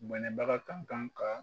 Bɔnɛbaga kan kan ka